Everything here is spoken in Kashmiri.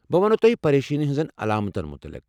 بہٕ ونَو تۄہہ پَریشٲنی ہنٛزن علامتن مُتعلق۔